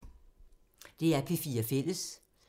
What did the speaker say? DR P4 Fælles